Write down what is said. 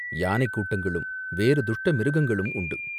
யானைக் கூட்டங்களும், வேறு துஷ்ட மிருகங்களும் உண்டு.